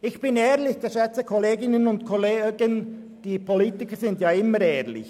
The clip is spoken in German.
Ich bin ehrlich, geschätzte Kolleginnen und Kollegen, die Politiker sind ja immer ehrlich!